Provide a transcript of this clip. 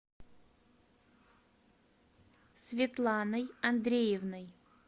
светланой андреевной